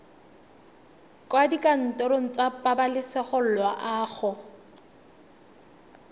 kwa dikantorong tsa pabalesego loago